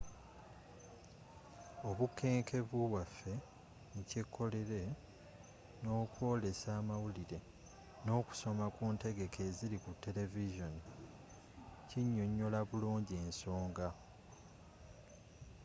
obukenkenfu bwafe mu kyekolere n'okwoolesa amawulire n'okusomera ku ntegeka eziri ku television kinnyonnyola bulungi ensonga